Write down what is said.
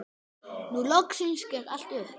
Nú loksins gekk allt upp.